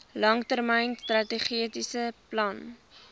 langtermyn strategiese plan